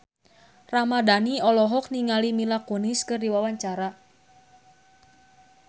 Mohammad Tria Ramadhani olohok ningali Mila Kunis keur diwawancara